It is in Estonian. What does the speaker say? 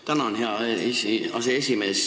Tänan, hea aseesimees!